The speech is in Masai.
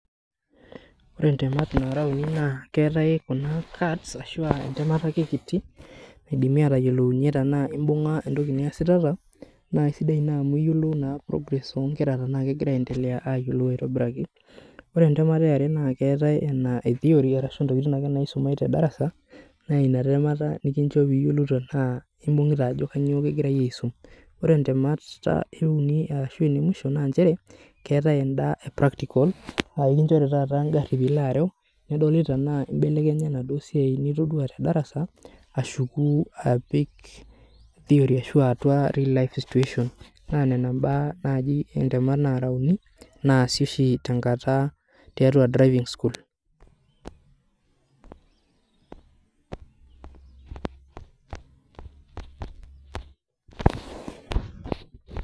Ore ntemat uni naa keetae kuna cards ashua entemata ake kiti naidimi atayiolounyie tenaa imbunga entoki niasitata naa kisidai ina amu iyiolou naa progress onkera tenaa kegira ayiolou aitobiraki .Ore entemata eare naa keetae naake theory ashu ntemat naake naisumae tedarasa naa inatemata nikincho piyiolou tenaa imbungita ajo kainyioo kingirae aisum .Ore ntemat euni ashuaa inemwisho naa nchere keetae enda epractical aa ekinchori taata engari pilo areu , nedoli tenaa imbelekenya enaduo siai nitodua tedarasa ashuku apik atua theory ashu real life situation. Naa nena mbaa naji intemat uni , naasi oshi tenkata tiatua driving school .